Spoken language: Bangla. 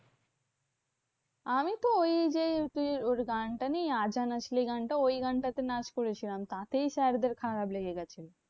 আমি তো ওই যে ওর গানটা নেই গানটা? ওই গানটাতে নাচ করেছিলাম। তাতেই sir দের খারাপ লেগে গেছিলো।